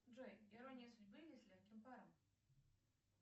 джой ирония судьбы или с легким паром